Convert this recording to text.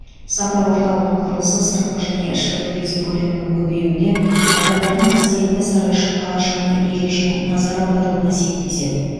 сапар орталығының құрылысы сыртқы және ішкі туризм көлемінің көбеюіне адамдардың қасиетті сарайшық қалашығына ерекше назар аударуына септеседі